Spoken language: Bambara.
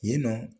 Yen nɔ